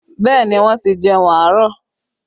Bẹẹ ni, wọ́n ti jẹun àárọ̀